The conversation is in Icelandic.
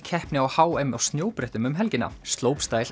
keppni á h m á snjóbrettum um helgina